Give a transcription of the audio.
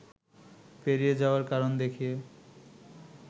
পেরিয়ে যাওয়ার কারণ দেখিয়ে